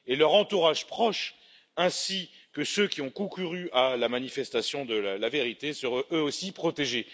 De plus, leur entourage proche, ainsi que ceux qui ont concouru à la manifestation de la vérité, seront eux aussi protégés.